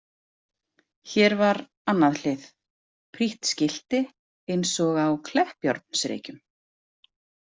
Hér var annað hlið, prýtt skilti eins og á Kleppjárnsreykjum.